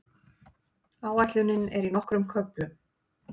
Áætlunin er í nokkrum köflum.